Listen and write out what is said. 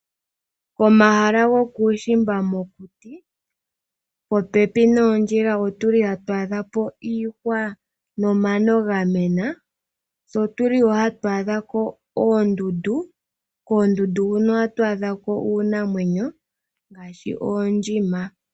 Omahala go kuushimba mokuti, po pepi noondjila otuli hat a dhapo iihwa, no mano ga mena, tse otuli wo hat a dhako oondundu, koondundu huno ohatu a dhako iinamwenyo ngaashi oondjima.